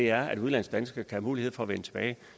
er at udenlandsdanskere skal have mulighed for at vende tilbage